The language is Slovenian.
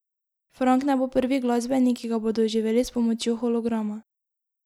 Frank ne bo prvi glasbenik, ki ga bodo oživeli s pomočjo holograma.